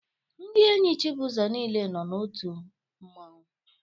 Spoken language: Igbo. Ndị enyi Chibuzo niile nọ n'otu mmanwu